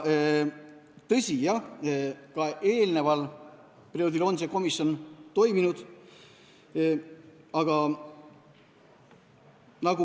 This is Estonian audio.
Tõsi, ka eelneval perioodil on see komisjon toiminud.